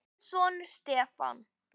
Þinn sonur, Stefán.